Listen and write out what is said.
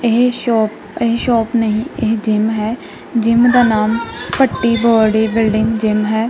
ਇਹ ਸ਼ੋਪ ਇਹ ਸ਼ੋਪ ਨਹੀਂ ਇਹ ਜਿਮ ਹੈ ਜਿਮ ਦਾ ਨਾਮ ਭੱਟੀ ਬਾਡੀ ਬਿਲਡਿੰਗ ਜਿਮ ਹੈ।